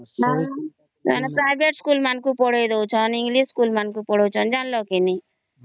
ହଁ private school ମାନଙ୍କୁ ପଢ଼େଇ ଡଉଛନ ଇଂଲିଶ ସ୍କୁଲ ମାନଙ୍କୁ ପଢ଼େଇ ଡଉଛନ ଜାଣିଲ କେ ନାହିଁ